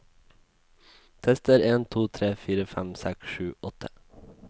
Tester en to tre fire fem seks sju åtte